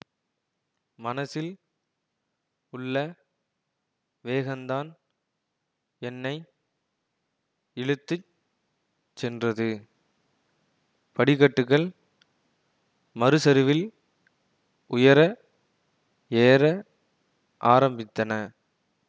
மனசில் உள்ள வேகந்தான் என்னை இழுத்து சென்றது படிக்கட்டுகள் மறுசரிவில் உயர ஏற ஆரம்பித்தன